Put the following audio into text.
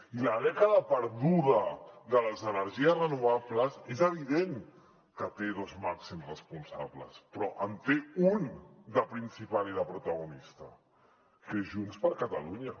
i la dècada perduda de les energies renovables és evident que té dos màxims responsables però en té un de principal i de protagonista que és junts per catalunya